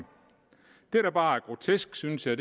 det der bare er grotesk synes jeg